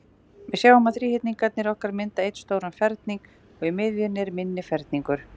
Við sjáum að þríhyrningarnir okkar mynda einn stóran ferning, og í miðjunni er minni ferningur.